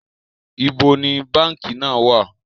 Ibo ni báńkì náà wà?